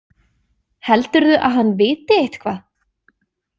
Heldurðu að hann viti eitthvað?